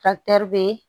be